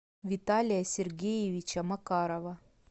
виталия сергеевича макарова